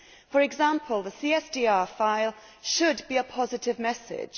For example, the CSDR file should send a positive message